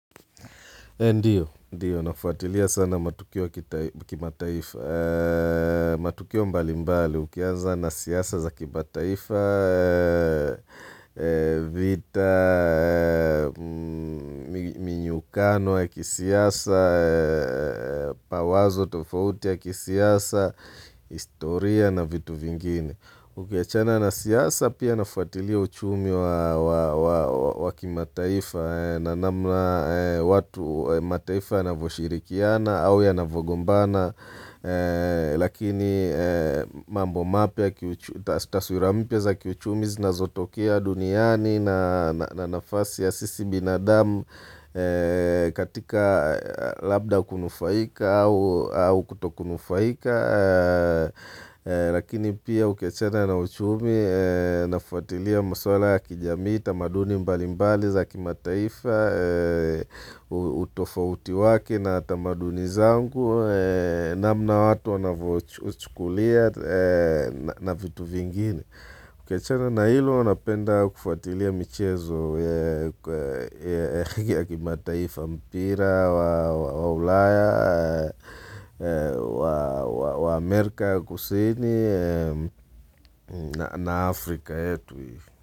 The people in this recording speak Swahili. Ndiyo, nafuatilia sana matukio ya kimataifa. Matukio mbali mbali, ukianza na siasa za kima taifa, vita, minyukano ya kisiasa, mawazo tofauti ya kisiasa, historia na vitu vingine. Ukiachana na siasa pia ninafuatilia uchumi wakimataifa na namna watu mataifa ya navyoshirikiana au ya navogombana Lakini taswira mpya za kiuchumi zinazotokea duniani na nafasi ya sisi binadamu katika labda kunufaika au kutokunufaika Lakini pia ukiachana na uchumi ninafuatilia maswala ya kijamii tamaduni mbali mbali zaki mataifa utofauti wake na tamaduni zangu namna watu wanavyochukulia na vitu vingine ukiachana na hilo ninapenda kufuatilia michezo ya kimataifa mpira, wa ulaya, wa Amerika ya kusini na Afrika yetu.